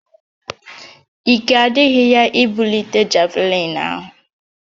Ike adịghị ya ibulite javlịn ahụ